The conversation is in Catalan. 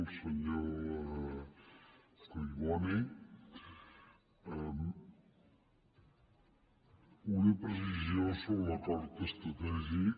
al senyor collboni una precisió sobre l’acord estratègic